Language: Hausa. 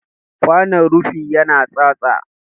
Kwanon rufi ya na tsatsa.